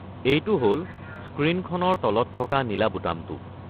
এইটো হ'ল স্ক্ৰীনখনৰ তলত থকা নীলা বুটামটো।